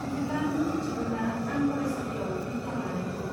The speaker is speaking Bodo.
बिदिब्ला नों मिथिगौना आं फरायसालियाव बिगियान लानायखौ?